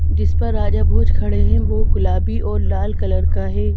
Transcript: जिस पर राजा भोज खड़े हैं वह गुलाबी और लाल कलर का है।